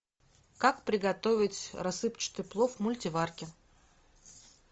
как приготовить рассыпчатый плов в мультиварке